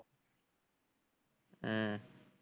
உம்